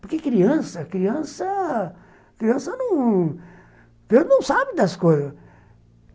Porque criança criança não não sabe das coisas.